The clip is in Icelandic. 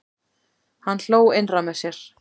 Hann hló innra með sér.